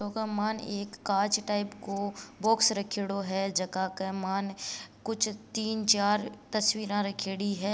फोटो के मायन एक कांच टाइप को बॉक्स रखयोड़ो है जका के मायन कुछ तीन चार तस्वीरा रख्योड़ी है।